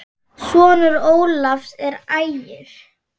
Sonur Ólafs er Ægir.